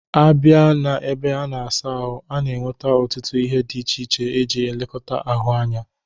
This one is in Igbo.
A bia na ebe a na-asa ahụ, a na-enwete ọtụtụ ihe dị iche iche e ji elekọta ahụ anya.